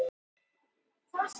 orðið sjálfbær er nýyrði í íslensku